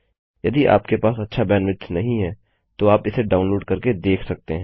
यदि आपके पास अच्छा बैंडविड्थ नहीं है तो आप इसे डाउनलोड करके देख सकते हैं